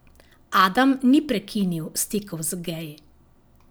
Adam ni prekinil stikov z geji.